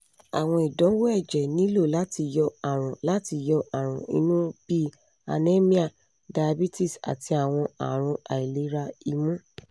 àwọn ìdánwò ẹ̀jẹ̀ nílò láti yọ àrùn láti yọ àrùn inú bí i anemia iabetes àti awọn arun àìlera imu